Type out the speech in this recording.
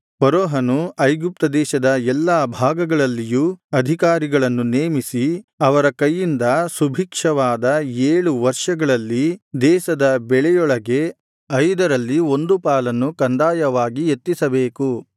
ಫರೋಹನು ಐಗುಪ್ತ ದೇಶದ ಎಲ್ಲಾ ಭಾಗಗಳಲ್ಲಿಯೂ ಅಧಿಕಾರಿಗಳನ್ನು ನೇಮಿಸಿ ಅವರ ಕೈಯಿಂದ ಸುಭಿಕ್ಷವಾದ ಏಳು ವರ್ಷಗಳಲ್ಲಿ ದೇಶದ ಬೆಳೆಯೊಳಗೆ ಐದರಲ್ಲಿ ಒಂದು ಪಾಲನ್ನು ಕಂದಾಯವಾಗಿ ಎತ್ತಿಸಬೇಕು